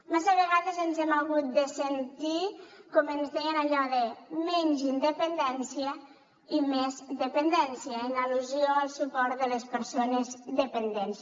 massa vegades ens hem hagut de sentir com ens deien allò de menys independència i més dependència en al·lusió al suport de les persones dependents